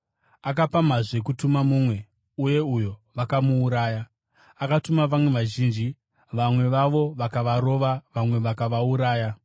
Akapamhazve kutuma mumwe, uye uyo vakamuuraya. Akatuma vamwe vazhinji; vamwe vavo vakavarova, vamwe vakavauraya.